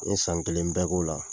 N ye san kelen bɛɛ k'o la